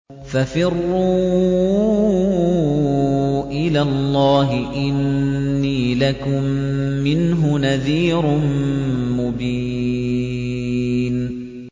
فَفِرُّوا إِلَى اللَّهِ ۖ إِنِّي لَكُم مِّنْهُ نَذِيرٌ مُّبِينٌ